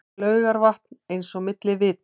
Laugarvatn eins og milli vita.